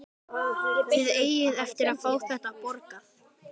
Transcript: Þið eigið eftir að fá þetta borgað!